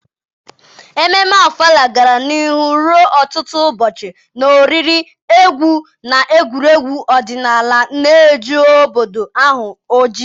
Ememme Ofala gara n’ihu ruo ọtụtụ ụbọchị, na oriri, egwu, na egwuregwu ọdịnala na-eju obodo ahụ ọchị.